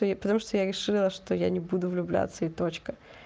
потому что я решила что я не буду влюбляться и точка